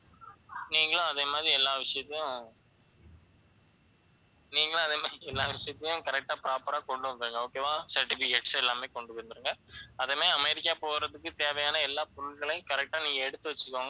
நீங்களும் அதே மாதிரி எல்லா விஷயத்தையும் correct ஆ proper ஆ கொண்டு வந்துருங்க okay வா certificates எல்லாமே கொண்டு வந்துருங்க அதுவுமே அமெரிக்கா போறதுக்கு தேவையான எல்லா பொருட்களையும் correct ஆ நீங்க எடுத்து வச்சுக்கோங்க